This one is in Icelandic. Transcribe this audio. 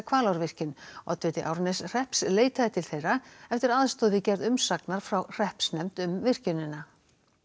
Hvalárvirkjun oddviti Árneshrepps leitaði til þeirra eftir aðstoð við gerð umsagnar frá hreppsnefnd um virkjunina